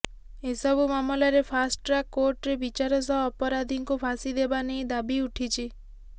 ଏସବୁ ମାମଲାରେ fast track କୋର୍ଟରେ ବିଚାର ସହ ଅପରାଧୀଙ୍କୁ ଫାଶୀ ଦେବା ନେଇ ଦାବି ଉଠିଛି